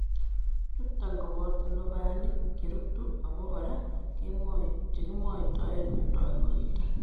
Chuton koboto lubanik cherutu obo kora chekimwoitoen tonuito.